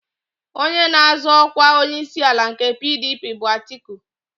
Onye na-azọ ọkwa onyeisiala nke PDP bụ Atiku.